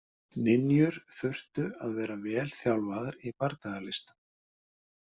Ninjur þurftu að vera vel þjálfaðar í bardagalistum.